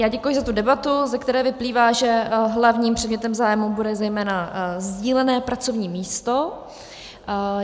Já děkuji za tu debatu, ze které vyplývá, že hlavním předmětem zájmu bude zejména sdílené pracovní místo.